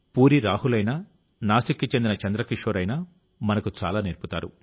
పూరీ రాహుల్ అయినా నాసిక్కి చెందిన చంద్రకిషోర్ అయినా మనకు చాలా నేర్పుతారు